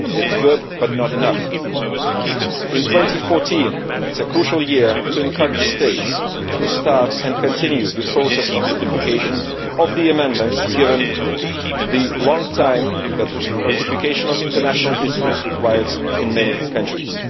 it is good but not enough. 2014 is a crucial year to encourage states to start and continue the process of ratification of the amendments, given the long time that ratification of international instruments requires in many countries.